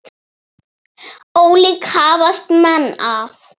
Ólíkt hafast menn að.